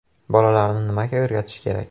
Bolalarni nimaga o‘rgatish kerak?